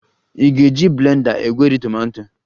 Ị ga-eji blender egweri tomato